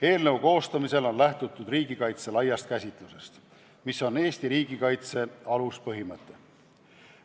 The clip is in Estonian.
Eelnõu koostamisel on lähtutud riigikaitse laiast käsitusest, mis on Eesti riigikaitse aluspõhimõte.